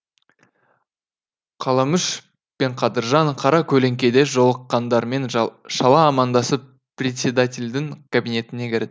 қаламүш пен қадыржан қара көлеңкеде жолыққандармен шала амандасып председательдің кабинетіне кірді